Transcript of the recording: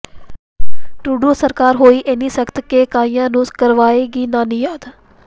Trudeau ਸਰਕਾਰ ਹੋਈ ਏਨੀ ਸਖਤ ਕੇ ਕਈਆਂ ਨੂੰ ਕਰਵਾਏਗੀ ਨਾਨੀ ਯਾਦ